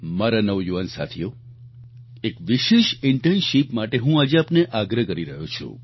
મારા નવયુવાન સાથીઓ એક વિશેષ ઈન્ટર્નશિપ માટે હું આજે આપને આગ્રહ કરી રહ્યો છું